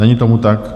Není tomu tak.